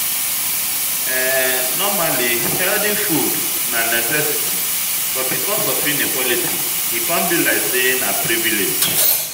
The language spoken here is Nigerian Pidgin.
Normally, healthy food na necessity, but because of inequality, e come be like sey na privilege